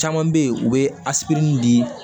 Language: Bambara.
Caman bɛ yen u bɛ di